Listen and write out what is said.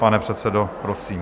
Pane předsedo, prosím.